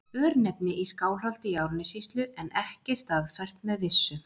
Örnefni í Skálholti í Árnessýslu en ekki staðfært með vissu.